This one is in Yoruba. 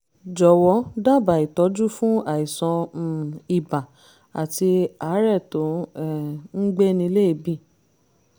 jọ̀wọ́ dábàá ìtọ́jú fún àìsàn um ibà àti àárẹ̀ tó um ń gbéni léèébì